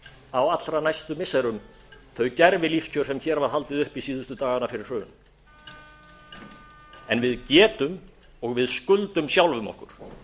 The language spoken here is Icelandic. á allra næstu missirum þau gervilífskjör sem hér var haldið uppi síðustu dagana fyrir hrun en við getum og við skuldum sjálfum okkur